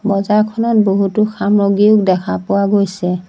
বজাৰখনত বহুতো সামগ্ৰী দেখা পোৱা গৈছে।